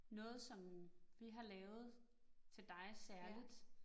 Noget som vi har lavet til dig særligt